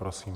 Prosím.